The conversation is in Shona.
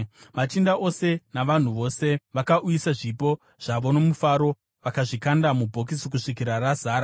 Machinda ose navanhu vose vakauyisa zvipo zvavo nomufaro, vakazvikanda mubhokisi kusvikira razara.